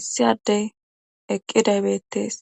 issi addey eqqidaybettees